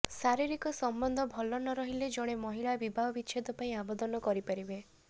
ଶାରିରୀକ ସମ୍ବନ୍ଧ ଭଲ ନ ରହିଲେ ଜଣେ ମହିଳା ବିବାହ ବିଚ୍ଛେଦ ପାଇଁ ଆବେଦନ କରିପାରିବେ